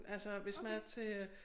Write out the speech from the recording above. Altså hvis man er til øh